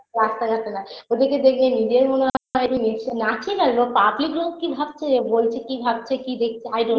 রাস্তা ঘাটে না ওদের কে দেখে নিজের মনে হয় যে নেচ নাচি না লোক public লোক কি ভাবছে বলছে কি ভাবছে কি দেখছে i don't